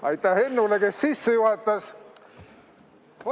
Aitäh Hennule, kes sisse juhatajas!